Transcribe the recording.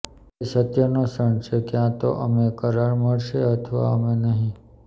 તે સત્યનો ક્ષણ છે ક્યાં તો અમે કરાર મળશે અથવા અમે નહીં